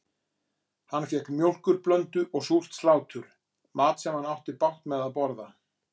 Hann fékk mjólkurblöndu og súrt slátur, mat sem hann átti bágt með að borða.